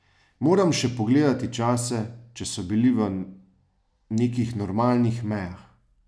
Moram še pogledati čase, če so bili v nekih normalnih mejah.